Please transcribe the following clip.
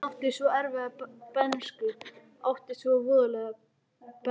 Hún átti svo erfiða bernsku, átti svo voðalega bernsku.